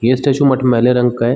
ये स्टेचू मटमैले रंग का है।